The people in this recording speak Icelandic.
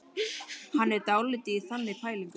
Hann er dálítið í þannig pælingum.